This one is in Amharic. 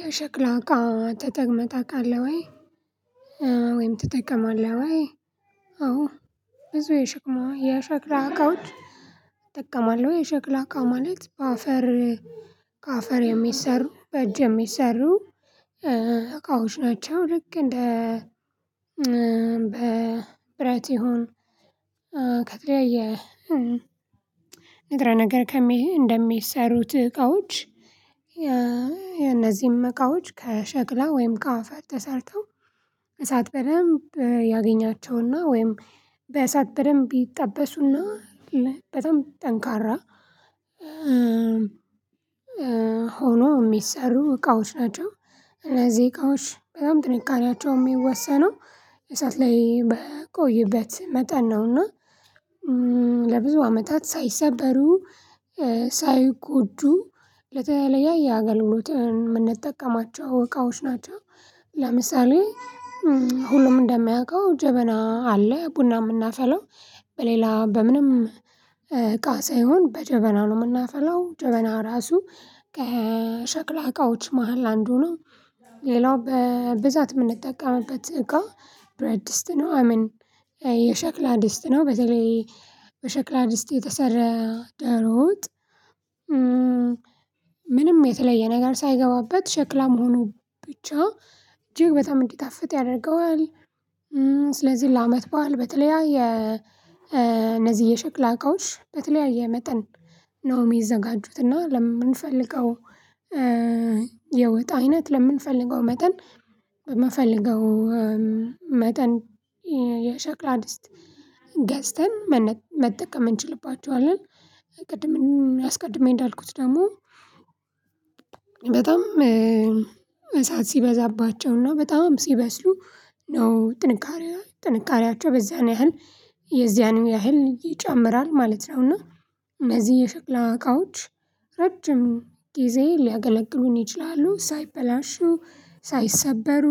"የሸክላ እቃ ተጠቅመህ ታውቃለህ ወይ? ወይም ትጠቀማለህ ወይ?" አዎ፤ ብዙ የሸቅማ የሸክላ አቃዎች እጠቀማለሁ። የሸክላ አቃ ማለት፤ በአፈር ከአፈር የሚሰሩ በእጅ የሚሰሩ እቃዎች ናቸው። ልክ እንደ በብረት ይሁን ከተለያየ ንጥረ ነገር ከሚ እንደሚሰሩት እቃዎች የነዚህም እቃወች ከሸክላ ወይም ከአፋር ተሰርተው እሳት በደንብ ያገኛቸውና ወይም በእሳት በደንብ ይጠበሱና በጣም ጠንካራ ሆኖ የሚሰሩ እቃዎች ናቸው። እነዚህ እቃዎች በጣም ጥንካሬያቸው የሚወሰነው እሳት ላይ በቆዩበት መጠን ነው። እና ለብዙ አመታት ሳይሰበሩ ሳይጎዱ ለተለያየ አገልግሎት ምንጠቀማቸው እቃዎች ናቸው። ለምሳሌ ሁሉም እንደሚያውቀው ጀበና አለ ቡና የምናፈላው በሌላ በምንም እቃ ሳይሆን በጀበናው ነው የምናፈላው። ጀበና ራሱ ከሸክላ እቃዎች መሃል አንዱ ነው። ሌላው በብዛት የምንጠቀምበት እቃ ብረትድስጥ ነው አይሚን የሸክላ ድስጥ ነው። በተለይ በሸክላ ድስት የተሰራ ደሮ ወጥ ምንም የተለየ ነገር ሳይገባበት ሸክላ መሆኑ ብቻ እጅግ በጣም እንዲጣፍጥ ያደርገዋል። ስለዚህ ለአመት በዓል በተለያየ እነዚህ የሸክላ እቃዎች በተለያየ መጠን ነው የሚዘጋጁት። እና ለምንፈልገው የወጥ አይነት ለምንፈልገው መጠን በምንፈለገው መጠን የሸክላ ድስጥ ገዝተን መጠቀም እንችላባቸዋለን። ቅድም አስቀድሜ እንዳልኩት ደግሞ በጣም እሳት ሲበዛባቸውና በጣም ሲበስሉ ነው ጥንካሬ ጥንካሬያቸው በዛን ያህል የዚያን ያህል ይጨምራል ማለት ነው። እና እነዚህ የሽክላ እቃዎች ረጅም ጊዜ ሊያገለግሉን ይችላሉ። ሳይበላሹ፣ ሳይሰበሩ፣